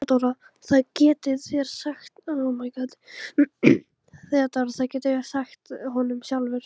THEODÓRA: Það getið þér sagt honum sjálfur.